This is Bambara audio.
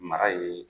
Mara ye